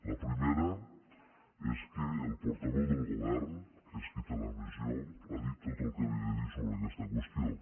la primera és que el portaveu del govern que és qui en té la missió ha dit tot el que havia de dir sobre aquesta qüestió